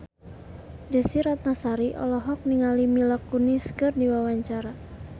Desy Ratnasari olohok ningali Mila Kunis keur diwawancara